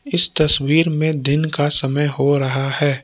इस तस्वीर में दिन का समय हो रहा है।